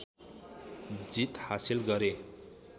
जित हाँसिल गरे